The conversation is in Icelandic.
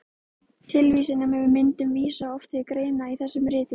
Tilvísanir með myndum vísa oft til greina í þessum ritum.